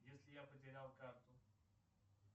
если я потерял карту